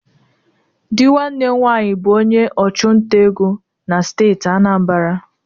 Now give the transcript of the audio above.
Di nwanne m nwanyi bụ onye ọchụnta ego na steeti Anambra.